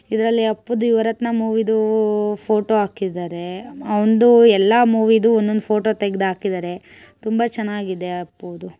ಇದ್ರಲ್ಲಿ ಅಪ್ಪುದು ಯುವರತ್ನ ಮೂವಿದು ಫೋಟೋ ಹಾಕಿದ್ದಾರೆ. ಅವನ್ದು ಎಲ್ಲಾ ಮೂವಿದು ಎಲ್ಲಾ ಒನಂದು ಒನಂದು ಫೋಟೋ ತೆಗ್ದಾಗಿದ್ದಾರೆ ತುಂಬಾ ಚೆನ್ನಾಗಿದೆ ಅಪ್ಪುದು.